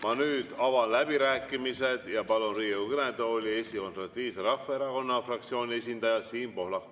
Ma nüüd avan läbirääkimised ja palun Riigikogu kõnetooli Eesti Konservatiivse Rahvaerakonna fraktsiooni esindaja Siim Pohlaku.